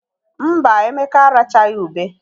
Mba, Emeka arachaghị ube.